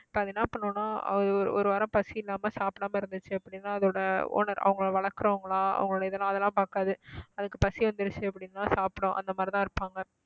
இப்ப அது என்ன பண்ணும்னா ஒரு வாரம் பசியில்லாம சாப்பிடாம இருந்துச்சு அப்படின்னா அதோட owner அவங்களை வளர்க்கிறவங்களா அவங்களுடைய இதெல்லாம் அதெல்லாம் பார்க்காது அதுக்கு பசி வந்திடுச்சு அப்படின்னா சாப்பிடும் அந்த மாதிரிதான் இருப்பாங்க